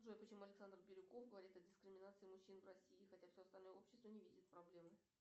джой почему александр бирюков говорит о дискриминации мужчин в россии хотя все остальное общество не видит проблемы